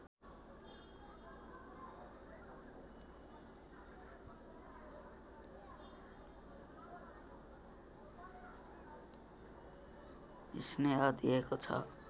स्नेह दिएको छ